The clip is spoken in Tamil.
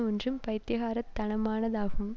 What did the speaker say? ஒன்று பைத்தியக்காரத் தனமானதாகும்